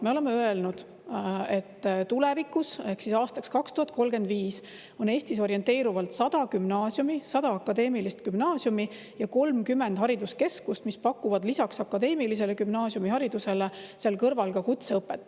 Me oleme öelnud, et tulevikus ehk siis aastaks 2035 on Eestis orienteerivalt 100 gümnaasiumi, 100 akadeemilist gümnaasiumi, ja 30 hariduskeskust, mis pakuvad lisaks akadeemilisele gümnaasiumiharidusele ka kutseõpet.